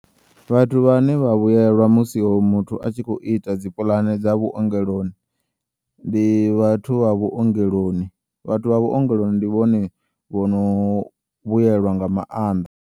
Vhathu vhane vha vhuyelwa musi o muthu atshi khou ita dzi pulane dza vhuongeloni ndi vhathu vha vhuongeloni vhathu vh avhuongeloni ndi vhone vhono vhuyelwa nga maanḓa.